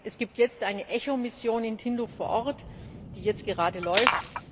Es gibt jetzt eine ECHO Mission in Tindouf vor Ort, die jetzt gerade läuft.